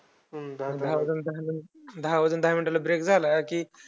दहा वाजून दहा minute ला break झाला कि